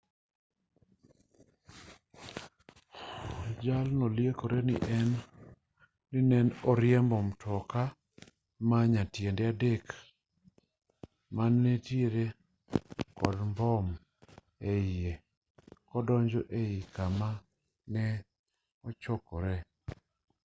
jalno liekore ni ne oriembo mtoka ma nyatiende adek mane nitiere kod mbom eiye kodonjogo ei kama ji ne ochokore